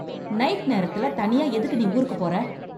night நேரத்துல தனியா எதுக்கு நீ ஊருக்கு போற